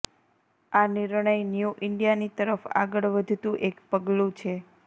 આ નિર્ણય ન્યૂ ઈન્ડિયાની તરફ આગળ વધતું એક પગલું છે